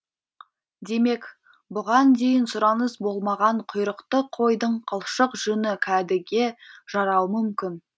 демек бұған дейін сұраныс болмаған құйрықты қойдың қылшық жүні кәдеге жарауы мүмкін